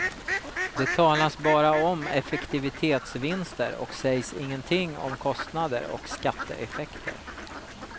Det talas bara om effektivitetsvinster och sägs ingenting om kostnader och skatteeffekter.